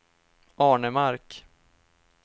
Arnemark